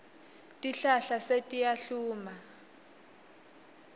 tihlahla setiyahluma